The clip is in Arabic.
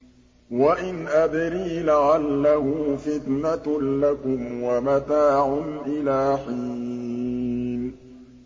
وَإِنْ أَدْرِي لَعَلَّهُ فِتْنَةٌ لَّكُمْ وَمَتَاعٌ إِلَىٰ حِينٍ